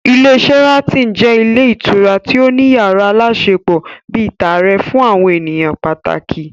Ilé Sharaton jẹ́ ilé ìtura tí ó ní yàrá aláṣepọ̀ bíi tààrẹ fún àwọn ènìyàn pàtàkì